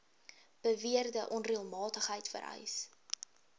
beweerde onreëlmatigheid vereis